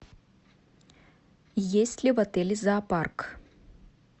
есть ли в отеле зоопарк